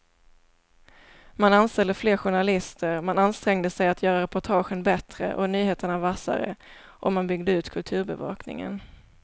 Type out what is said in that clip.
Man anställde fler journalister, man ansträngde sig att göra reportagen bättre och nyheterna vassare och man byggde ut kulturbevakningen.